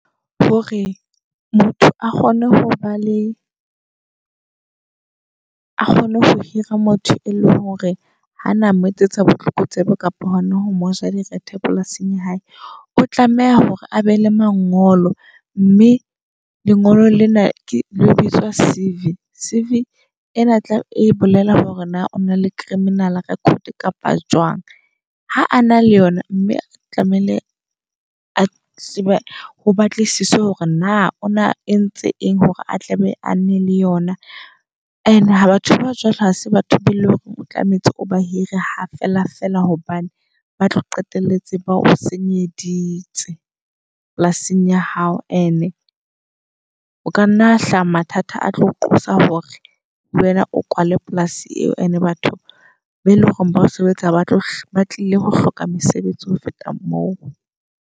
Hore motho a kgone ho ba le a kgone ho hira motho e leng hore hana moetsetsa botlokotsebe kapa hona ho moja direthe polasing ya hae. O tlameha hore a be le mangolo mme lengolo lena ke le bitswa C_V. C_V ena tlabe e bolela hore na ona le -criminal record kapa jwang. Ha a na le yona mme tlamehile a tsebe ho batlisisa hore na o na entse eng hore a tlabe a ne le yona. And-e batho ba jwalo ha se batho be eleng hore o tlametse o ba hire ha feela feela. Hobane ba tlo qetelletse ba o senyeditse polasing ya hao. And-e o kanna hlaha mathata a tlo qosa hore le wena o kwale polasi eo, and-e batho ba eleng hore ba o sebetsa batlo ba tlile ho hloka mesebetsi ho feta moo.